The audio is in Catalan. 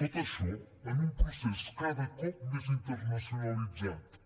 tot això en un procés cada cop més internacionalitzat